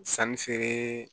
Sanni feere